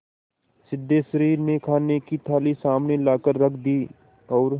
सिद्धेश्वरी ने खाने की थाली सामने लाकर रख दी और